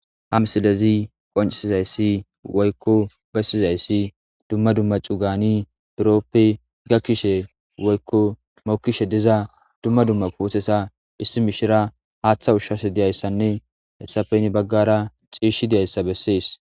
Ha missilezi qonccisizayssi woykko bessizaysii dumma dumma cuugan buroppe gakkiza woykko mokishe diiza dumma dumma puutteta issi mishshiriya haaththa ushshashe dizayssane hessape gede baggara cishshi dizayssa besess.